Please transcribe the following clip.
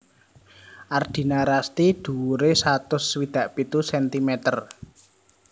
Ardina Rasti dhuwuré satus swidak pitu sentimeter